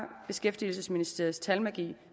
beskæftigelsesministeriets talmagi